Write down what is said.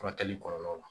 Furakɛli kɔlɔlɔ la